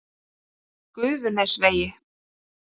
Gufunesvegi